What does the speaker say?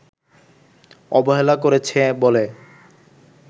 অবহেলা করেছে বলে